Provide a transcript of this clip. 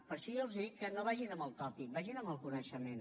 per això jo els dic que no vagin amb el tòpic vagin amb el coneixement